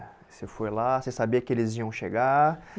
Você foi lá, você sabia que eles iam